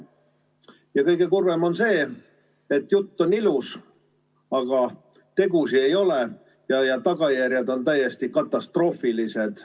Ja kõige kurvem on see, et jutt on ilus, aga tegusid ei ole ja tagajärjed on täiesti katastroofilised.